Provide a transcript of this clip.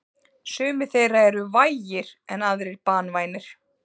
Sumir þeirra eru vægir en aðrir banvænir.